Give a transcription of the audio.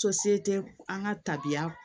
an ka tabiya